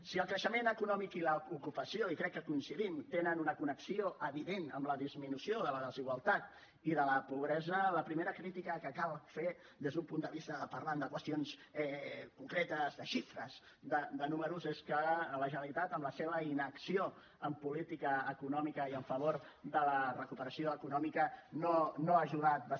si el creixement econòmic i l’ocupació i crec que hi coincidim tenen una connexió evident amb la disminució de la desigualtat i de la pobresa la primera crítica que cal fer des d’un punt de vista de parlar de qüestions concretes de xifres de números és que la generalitat amb la seva inacció en política econòmica i en favor de la recuperació econòmica no ha ajudat prou